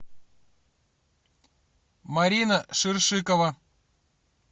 марина ширшикова